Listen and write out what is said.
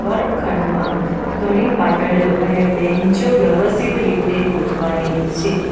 વર્ગ ખંડમાં ઘણી પાટલીઓ અને બેન્ચો વ્યવસ્થિત રીતે ગોઠવાયેલી છે.